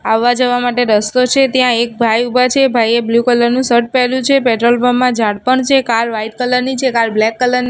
આવા જવા માટે રસ્તો છે ત્યાં એક ભાઇ ઉભા છે ભાઈએ બ્લુ કલર નુ શર્ટ પેર્યુ છે પેટ્રોલ પંપ મા ઝાડ પણ છે કાર વ્હાઇટ કલર ની છે કાર બ્લેક કલર --